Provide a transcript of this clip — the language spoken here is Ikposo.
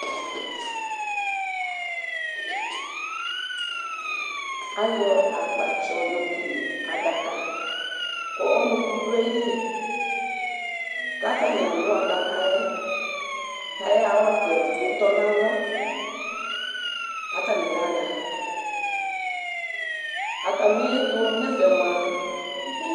Ayɔ akpatsɔ yokele adaka, kɔlʊkʊ dʊ aƴɩlɩ, katanɩ alʊ adaka ƴɛ, kayaya kɔlʊka edigbo tɔnalɔ karani yaya Atamiɛtu nɛfɛ mua